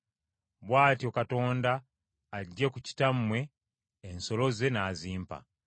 Bw’atyo Katonda aggye ku kitammwe ensolo ze n’azimpa.